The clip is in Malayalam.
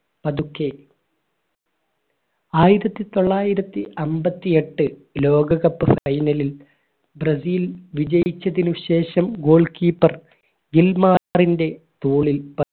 പതുക്കെ ആയിരത്തിത്തൊള്ളായിരത്തി അയ്ബത്തിഎട്ട് ലോക cup final ൽ ബ്രസീൽ വിജയിച്ചതിനുശേഷം goal keeper ഗില്‍മാറിന്റെ തോളിൽ